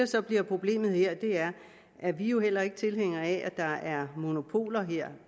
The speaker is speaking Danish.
så bliver problemet her og det er vi jo heller ikke tilhængere af er at der er monopoler her